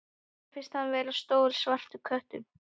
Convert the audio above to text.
Mér finnst hann vera stór svartur köttur.